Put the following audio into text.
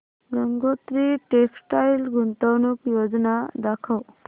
Gangotri textile गुंतवणूक योजना दाखव